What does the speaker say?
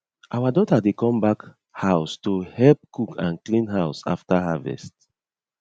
our daughter dey come back house to help cook and clean house after harvest